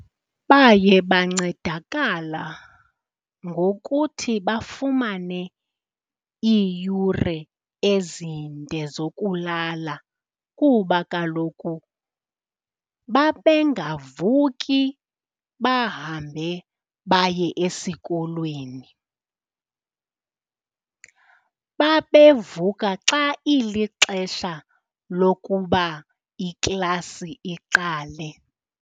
Baye bancedakala ngokuthi bafumane iiyure ezinde zokulala kuba kaloku babengavuki bahambe baye esikolweni. Babevuka xa ilixesha lokuba iklasi iqale.